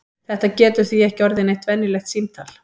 Þetta getur því ekki orðið neitt venjulegt símtal!